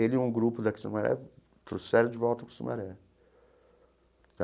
Ele e um grupo daqui de Sumaré trouxeram de volta para Sumaré.